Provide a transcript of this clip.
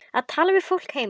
Að tala við fólkið heima.